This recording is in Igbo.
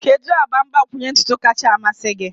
Kedu agba mgbakwunye ntutu kacha a mmasị gị?